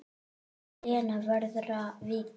Og Lena verður að víkja.